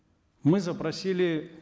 мы запросили